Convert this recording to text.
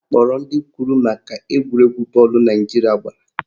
Akpọrọ ndị kwuru maka egwuregwu bọọlụ Naijiria gbara